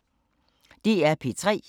DR P3